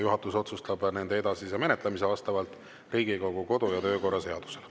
Juhatus otsustab nende edasise menetlemise vastavalt Riigikogu kodu- ja töökorra seadusele.